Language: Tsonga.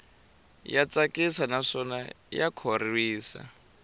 ya tsakisa naswona ya khorwisa